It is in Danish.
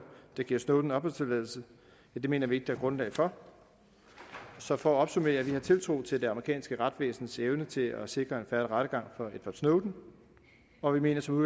der giver snowden opholdstilladelse mener vi ikke der er grundlag for så for at opsummere vi har tiltro til det amerikanske retsvæsens evne til at sikre en fair rettergang for edward snowden og vi mener som